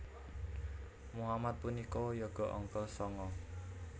Mohamad punika yoga angka sanga